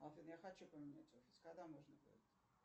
афина я хочу поменять офис когда можно будет